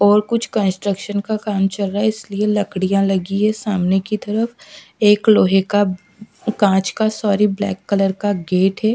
और कुछ कंस्ट्रक्शन का काम चल रहा है इसलिए लकड़ियां लगी हैं सामने की तरफ एक लोहे का कांच का सॉरी ब्लैक कलर का गेट है।